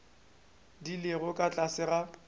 di lego ka tlase ga